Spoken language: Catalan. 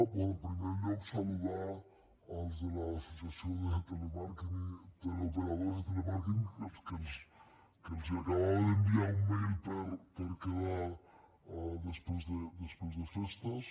bé en primer lloc saludar els de l’associació de teleoperadors i telemàrqueting que els acabava d’enviar un mailper quedar després de festes